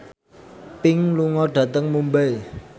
Pink lunga dhateng Mumbai